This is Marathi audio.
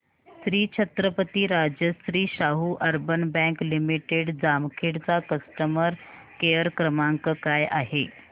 Shri Chhatrapati Rajashri Shahu urban bank limited Jamkhed चा कस्टमर केअर क्रमांक काय आहे